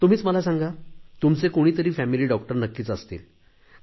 तुम्हीच मला सांगा तुमचे कुणीतरी फॅमिली डॉक्टर नक्कीच असतील